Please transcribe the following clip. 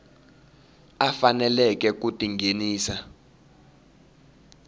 a faneleke ku ti nghenisa